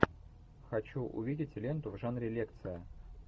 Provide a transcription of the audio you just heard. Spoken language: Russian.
хочу увидеть ленту в жанре лекция